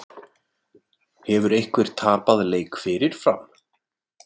Hefur einhver tapað leik fyrirfram?